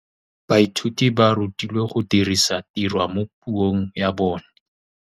Baithuti ba rutilwe go dirisa tirwa mo puong ya bone.